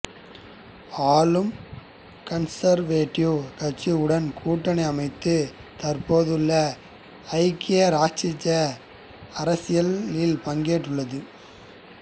ஆளும் கன்சர்வேட்டிவ் கட்சியுடன் கூட்டணி அமைத்து தற்போதுள்ள ஐக்கிய இராச்சிய அரசில் பங்கேற்றுள்ளது